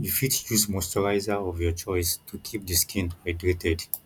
you fit use moisturizer of your choice to keep di skin hydrated